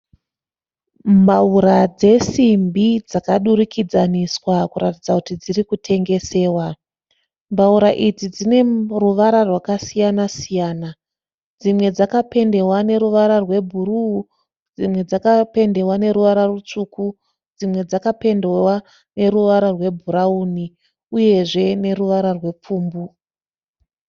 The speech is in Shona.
Mbaura dzesimbi dzakadurikidzaniswa kuratidza kuti dziri kutengesewa. Mbaura idzi dzine ruvara rwakasiyana siyana. Dzimwe dzakapendewa neruvara rwebhuruu dzimwe dzakapendewa neruvara rutsvuku. Dzimwe dzakapendewa neruvara rwebhurawuni uyezve neruvara rwepfumbu.